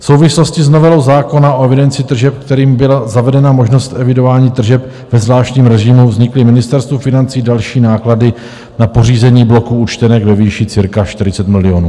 V souvislosti s novelou zákona o evidenci tržeb, kterým byla zavedena možnost evidování tržeb ve zvláštním režimu, vznikly Ministerstvu financí další náklady na pořízení bloků účtenek ve výši cirka 40 milionů.